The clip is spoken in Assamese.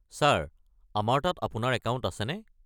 ছাৰ, আমাৰ তাত আপোনাৰ একাউণ্ট আছেনে?